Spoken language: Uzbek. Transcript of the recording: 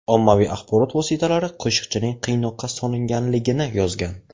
Ommaviy axborot vositalari Qoshiqchining qiynoqqa solinganligini yozgan.